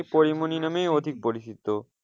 তিনি পরিমনি নামেই অধিক পরিচিত,